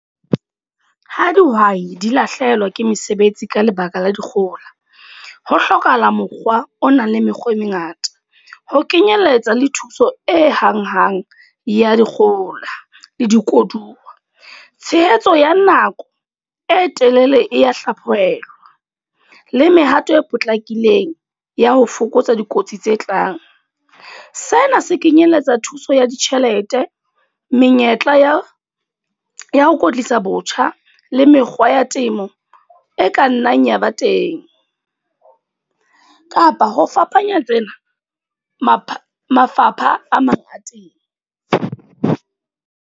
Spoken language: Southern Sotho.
Ha dihwai di lahlehelwa ke mesebetsi ka lebaka la dikgohola. Ho hlokahala mokgwa o nang le mekgwa e mengata. Ho kenyeletsa le thuso e hang-hang ya dikgohola le di koduwa. Tshehetso ya nako ng e telele e ya hlaphohelwa. Le mehato e potlakileng ya ho fokotsa dikotsi tse tlang. Sena se kenyeletsa thuso ya ditjhelete, menyetla ya ya ho kwetlisa botjha. Le mekgwa ya temo, e ka nnang ya ba teng. Kapa ho fapanya tsena, mapha mafapha a mangata.